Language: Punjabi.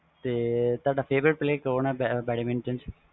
ਤੁਹਾਡਾ favourite player ਕੌਣ ਵ badminton ਚ